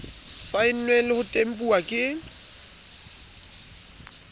saennweng le ho tempuwa ke